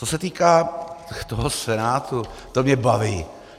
Co se týká toho Senátu, to mě baví.